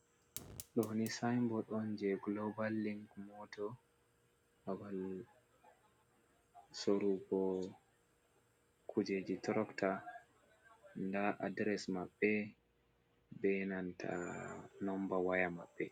Ɗoni sayinbod on jey gulobal link motos, babal sorugo kujeji turokta, ndaa adires maɓɓe, be nanta nomba waya maɓɓe.